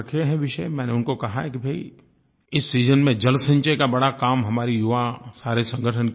मैंने उनको कहा है कि भाई इस सीजन में जलसंचय का बड़ा काम हमारे युवा सारे संगठन क्यों न करें